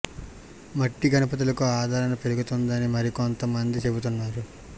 మట్టి గణపతులకు ఆదరణ పెరుగుతోందని మరి కొంత మంది చెబుతున్నారు